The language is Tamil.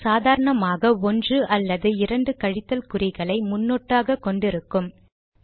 அவை சாதாரணமாக ஒன்று அல்லது இரண்டு கழித்தல் குறிகளை முன்னொட்டாக கொண்டு இருக்கும்